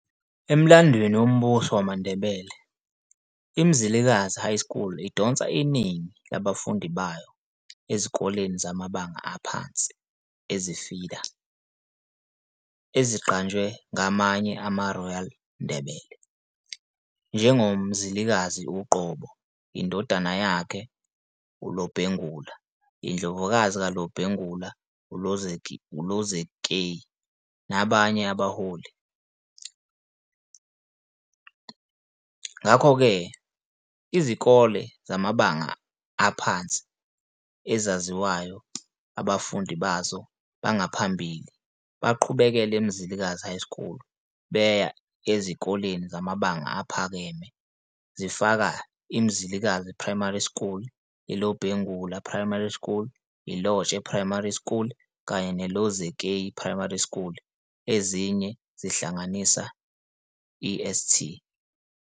Emlandweni woMbuso wamaNdebele, iMzilikazi High School idonsa iningi labafundi bayo ezikoleni zamabanga aphansi ezi-feeder eziqanjwe ngamanye amaRoyal Ndebele, njengoMzilikazi uqobo, indodana yakhe, uLobhengula, Indlovukazi kaLobhengula, uLozikeyi, nabanye abaholi, ezifana Lotshe. Ngakho-ke, izikole zamabanga aphansi ezaziwayo abafundi bazo bangaphambili baqhubekele eMzilikazi High School beya ezikoleni zamabanga aphakeme zifaka- iMzilikazi Primary School, iLobhengula Primary School, iLotshe Primary School, kanye neLozikeyi Primary School. Ezinye zihlanganisa iSt.